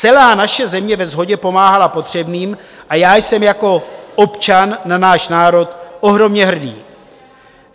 Celá naše země ve shodě pomáhala potřebným a já jsem jako občan na náš národ ohromně hrdý.